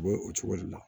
U bɛ o cogo de la